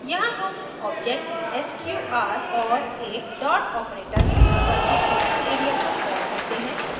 यहाँ हम object sqr और एक dot operator प्रयोग करके function area को कॉल करते हैं